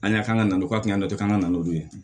An y'a kan ka na n'o ye o kun ka kan ka na n'o ye